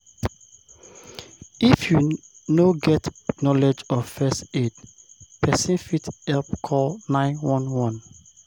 if you no get knowlege of first aid, persin fit help call 911